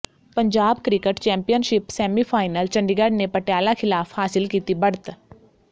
Punjab cricket championship semifinal Chandigarh ਨੇ ਪਟਿਆਲਾ ਿਖ਼ਲਾਫ਼ ਹਾਸਿਲ ਕੀਤੀ ਬੜ੍ਹਤ